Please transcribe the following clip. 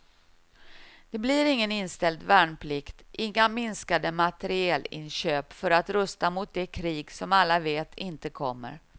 Det blir ingen inställd värnplikt, inga minskade materielinköp för att rusta mot det krig som alla vet inte kommer.